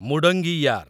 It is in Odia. ମୁଡଙ୍ଗିୟାର୍